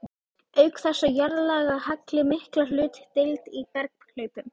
Auk þess á jarðlagahalli mikla hlutdeild í berghlaupum.